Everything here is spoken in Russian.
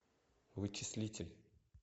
вычислитель